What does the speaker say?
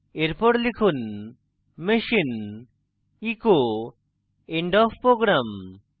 এরপর লিখুন machine echo end of program